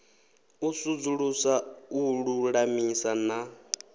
u sudzulusa u lulamisa na